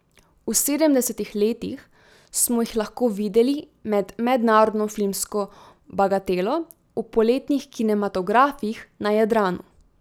V sedemdesetih letih smo jih lahko videli med mednarodno filmsko bagatelo v poletnih kinematografih na Jadranu.